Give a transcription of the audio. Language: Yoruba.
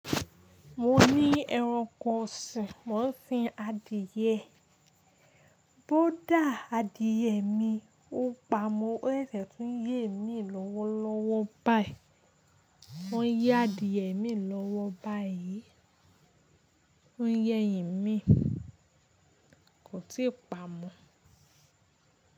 Mo ní ẹranko sìn, mo ń sin adìyẹ, bó dà adìyẹ mi, ó pa, ó sèsè tún yé mi lọ́wọ́lọ́wọ́́ báyi, mo ń yé adìyẹ mi lọ́wọ́ báyi, ó ń yé ẹ̀yìn mi, kò tí ì pa mọ́.